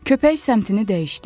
Köpək səmtini dəyişdi.